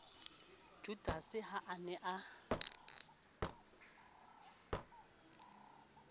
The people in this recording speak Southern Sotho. judase ha a ne a